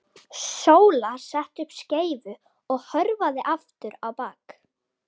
Sóla setti upp skeifu og hörfaði aftur á bak.